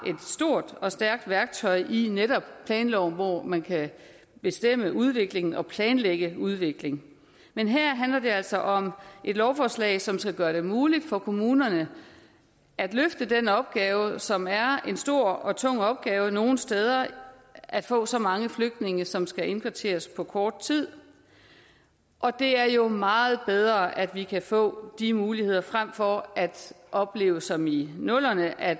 stort og stærkt værktøj i netop planloven hvor man kan bestemme udviklingen og planlægge udvikling men her handler det altså om et lovforslag som skal gøre det muligt for kommunerne at løfte den opgave som er en stor og tung opgave nogle steder at få så mange flygtninge som skal indkvarteres på kort tid og det er jo meget bedre at vi kan få de muligheder frem for at opleve som i nullerne at